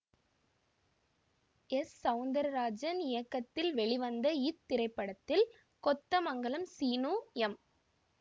S Soundararajan இயக்கத்தில் வெளிவந்த இத்திரைப்படத்தில் கொத்தமங்கலம் சீனு எம்